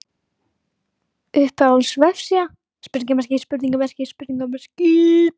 Uppáhalds vefsíða:???